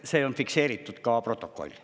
See on fikseeritud ka protokollis.